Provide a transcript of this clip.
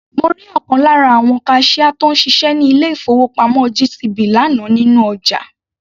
Mo rí ọ̀kan lára àwon kaṣíá tó ń ṣiṣẹ́ ní ilé-ìfowópamọ́ GTB lánàá nínú ọjà.